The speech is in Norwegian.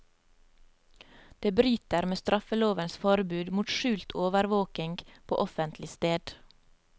Det bryter med straffelovens forbud mot skjult overvåking på offentlig sted.